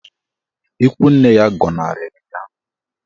Ikwu nne ya gọnarịrị ya.